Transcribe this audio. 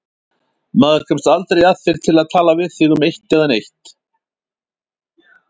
Maður kemst aldrei að þér til að tala við þig um eitt né neitt.